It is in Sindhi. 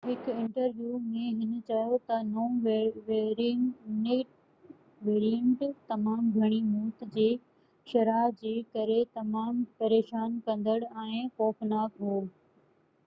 هڪ انٽرويو ۾ هِن چيو ته نئون ويريئينٽ تمام گھڻي موت جي شرح جي ڪري تمام پريشان ڪندڙ ۽ خوفناڪ هو